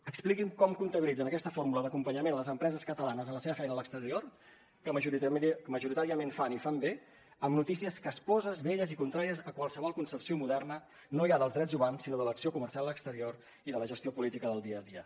expliqui’m com comptabilitzen aquesta fórmula d’acompanyament a les empreses catalanes a la seva feina a l’exterior que majoritàriament fan i fan bé amb notícies casposes velles i contràries a qualsevol concepció moderna no ja dels drets humans sinó de l’acció comercial exterior i de la gestió política del dia a dia